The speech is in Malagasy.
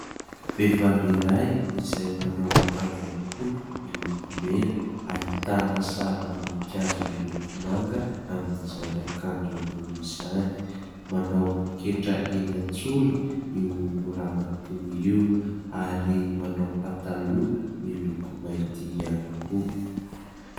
Vehivavy iray, izay manao akanjo ambony miloko mena. Ahitana sarim-boninkazo miloko manga amin'izany akanjo ambony izany. Manao poketra eny an-tsoriny io ramatoa io ary manao pataloa miloko mainty ihany koa.